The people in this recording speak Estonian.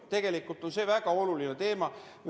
See on väga oluline teema.